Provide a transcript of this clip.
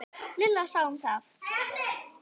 Lilla sá um það.